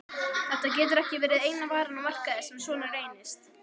Þetta getur ekki eina varan á markaði sem svona reynist?